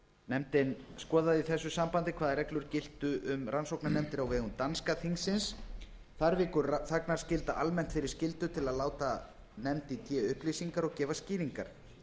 nefndin skoðaði í þessu sambandi hvaða reglur gilda um rannsóknarnefndir á vegum danska þingsins þar víkur þagnarskylda almennt fyrir skyldu til að láta nefnd í té upplýsingar og gefa skýringar